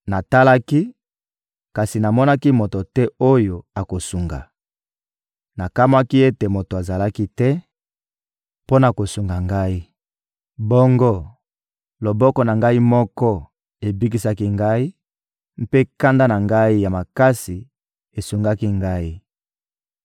Natalaki, kasi namonaki moto te oyo akosunga; nakamwaki ete moto azalaki te mpo na kosunga ngai! Bongo, loboko na ngai moko ebikisaki ngai, mpe kanda na ngai ya makasi esungaki ngai.